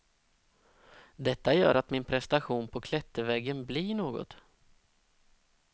Detta gör att min prestation på klätterväggen blir något.